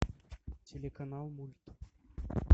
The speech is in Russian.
телеканал мульт